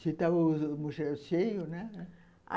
Se estava o mochilão cheio, né?